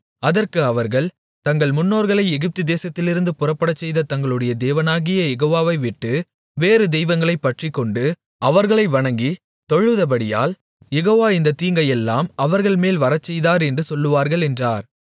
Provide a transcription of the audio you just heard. அதற்கு அவர்கள் தங்கள் முன்னோர்களை எகிப்து தேசத்திலிருந்து புறப்படச்செய்த தங்களுடைய தேவனாகிய யெகோவாவை விட்டு வேறு தெய்வங்களைப் பற்றிக்கொண்டு அவர்களை வணங்கி தொழுதபடியால் யெகோவா இந்தத் தீங்கையெல்லாம் அவர்கள்மேல் வரச்செய்தார் என்று சொல்லுவார்கள் என்றார்